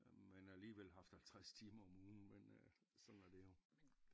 Men alligevel haft 50 timer om ugen men øh sådan er det jo